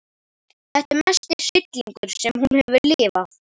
Þetta er mesti hryllingur sem hún hefur lifað.